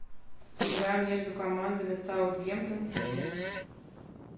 игра между командами саутгемптон сити